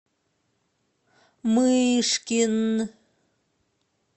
мышкин